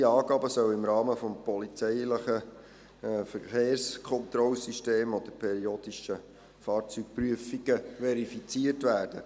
Diese Angaben sollen im Rahmen des polizeilichen Verkehrskontrollsystems oder periodischer Fahrzeugprüfungen verifiziert werden.